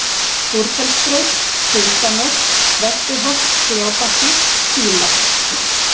Búrfellsbraut, Syðsta-Mörk, Vesturholt Gljábakki, Dílar